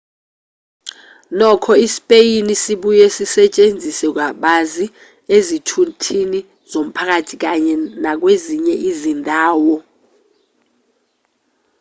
nokho isipeyini sibuye sisetshenziswe kabanzi ezithuthini zomphakathi kanye nakwezinye izindawo